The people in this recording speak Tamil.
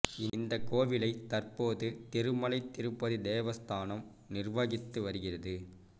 இந்த கோவிலை தற்போது திருமலை திருப்பதி தேவஸ்தானம் நிர்வகித்து வருகிறது